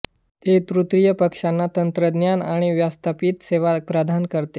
ते तृतीय पक्षांना तंत्रज्ञान आणि व्यवस्थापित सेवा प्रदान करते